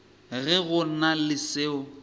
ge go na le seo